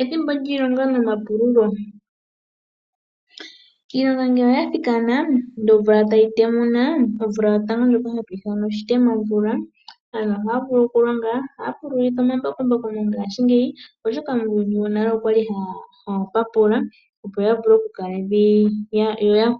Ethimbo lyiilonga noma pululo, iilonga ngele oya thikana ndee omvula etayi temuna, omvula yotango ndjoka hatwii thana oshitemamvula. Aantu ohaa pululitha omambakumbaku mo ngaashi ngeyi, oshoka muuyuni wo nale aantu okwali haa papula opo ya